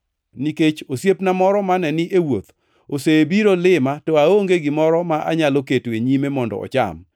nikech osiepna moro mane ni e wuoth osebiro lima to aonge gimoro ma anyalo keto e nyime mondo ocham.’